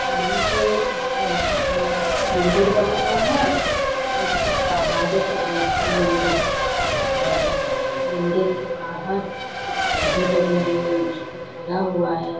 यहाँ पे एक मंदिर बना हुआ है जो की पहाड़ों के बीच मे मंदिर है और मंदिर के बाहर कुछ पौधे लगे हुए हैं उसको घेरा हुआ है।